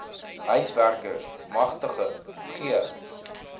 huiswerkers magtiging gee